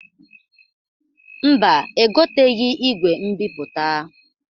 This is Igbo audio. Mba, egoteghi igwe mbipụta.